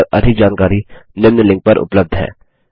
इस मिशन पर अधिक जानकारी निम्न लिंक पर उपलब्ध है